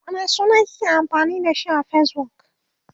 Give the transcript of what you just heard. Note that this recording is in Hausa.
wane suna kike amfani da shi a Facebook?